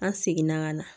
An seginna ka na